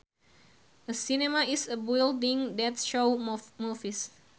A cinema is a building that shows movies